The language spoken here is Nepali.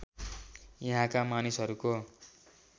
यहाँका मानिसहरूको